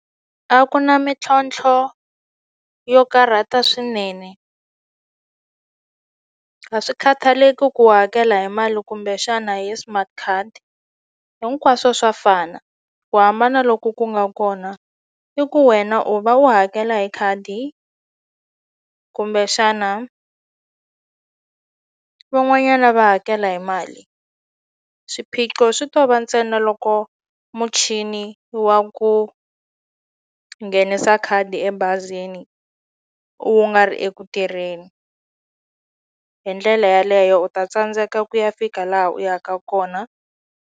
A ku na mintlhontlho yo karhata swinene a swi khathaleki ku u hakela hi mali kumbexana hi smart card hinkwaswo swa fana ku hambana loku ku nga kona i ku wena u va u hakela hi khadi kumbexana van'wanyana va hakela hi mali swiphiqo swi to va ntsena loko muchini wa ku nghenisa khadi ebazini u nga ri eku tirheni hi ndlela yaleyo u ta tsandzeka ku ya fika laha u yaka kona.